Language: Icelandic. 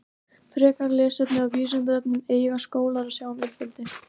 Frekara lesefni á Vísindavefnum Eiga skólar að sjá um uppeldi?